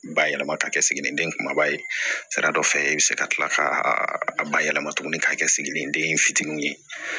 Bayɛlɛma ka kɛ siginiden kumaba ye sira dɔ fɛ i bɛ se ka tila ka a bayɛlɛma tuguni k'a kɛ siginiden fitinin ye